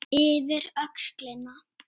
Yfir öxlina.